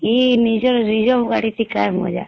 ଇ ନିଜର Reserve ଗାଡି ଟି କାଣ ମଜା